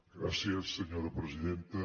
gràcies senyora presidenta